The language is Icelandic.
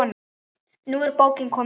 Nú er bókin komin út.